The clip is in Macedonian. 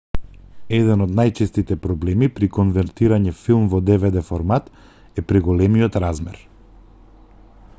еден од најчестите проблеми при конвертирање филм во dvd-формат е преголемиот размер